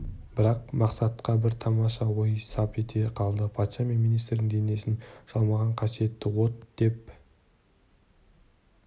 бірақ мақсатқа бір тамаша ой сап ете қалды патша мен министрдің денесін жалмаған қасиетті от деп